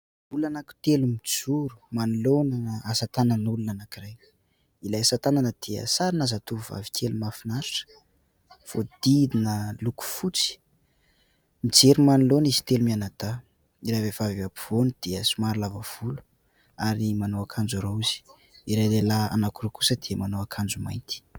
Olona anankitelo mijoro manoloana ana asa tanan'olona anankiray. Ilay asa tanana dia sarina zatovovavy kely mahafinaritra, voahodidina loko fotsy. Mijery manoloana izy telo mianadahy. Ilay vehivavy eo ampovoany dia somary lava volo ary manao akanjo raozy. Ilay lehilahy anankiroa kosa dia manao akanjo mainty.